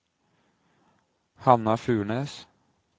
Hanna Furnes